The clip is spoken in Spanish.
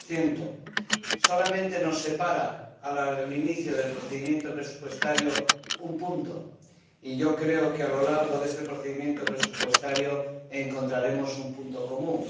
3 Solamente nos separa, al inicio del procedimiento presupuestario, un punto porcentual, y yo creo que a lo largo de este procedimiento presupuestario encontraremos un objetivo común.